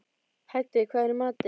Hædý, hvað er í matinn?